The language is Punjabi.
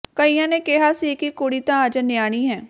ਕਈਆਂ ਨੇ ਕਿਹਾ ਸੀ ਕਿ ਕੁੜੀ ਤਾਂ ਅਜੇ ਨਿਆਣੀ ਹੈ